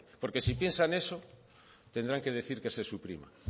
porque si piensan eso tendrán que decir que se suprima